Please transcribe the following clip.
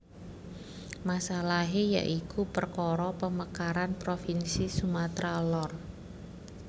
Masalahé ya iku perkara pemekaran provinsi Sumatra Lor